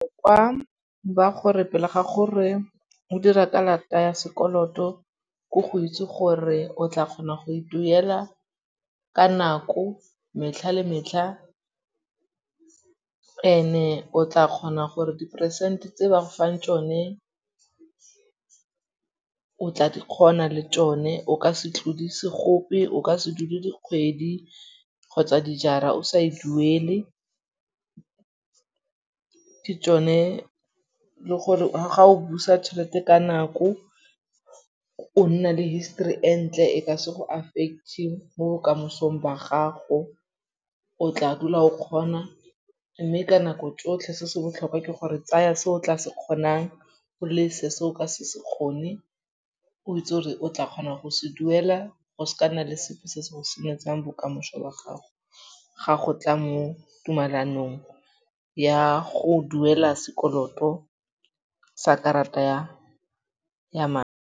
Kwa ba gore pele ga gore o dira karata ya sekoloto ko go itse gore o tla kgona go e duela ka nako metlha le metlha ene o tla kgona gore diperesente tse ba fang tšone o tla di kgona le tšone. O ka se tlodise gope, o ka se dule dikgwedi kgotsa dijara o sa e duele. Ke tšone le gore ga o busa tšhelete ka nako o nna le histori e ntle e ka se go affect-ng mo bokamosong ba gago. O tla dula o kgona mme ka nako tsotlhe se se botlhokwa ke gore tsaya se o tla se kgonang, o lese se o ka se se kgone. O itse gore o tla kgona go se duela. Go se ka nna le sepe se se go senyetsang bokamošo ba gago ga go tla mo tumalanong ya go duela sekoloto sa karata ya